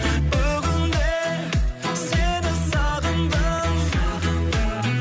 бүгін де сені сағындым сағындым